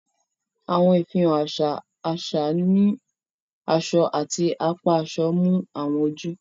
Awọn ìfihàn aṣa aṣa ni aṣọ ati apá aṣọ mú awọn ojú.